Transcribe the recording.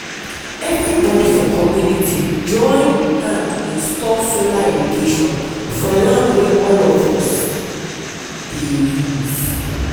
everybody for community join hand install solar irrigation for land wey all of us us dey use.